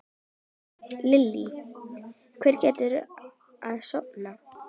Lillý: Hvernig gekk að safna?